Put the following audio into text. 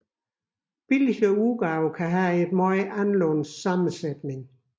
Billigere udgaver kan have en meget anderledes sammensætning